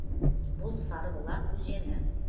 бұл сарыбұлақ өзені